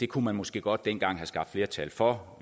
kunne man måske godt dengang have skabt flertal for